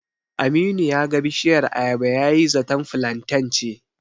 Aminu ya ga bishiyar ayaba yayi zaton filanten ce.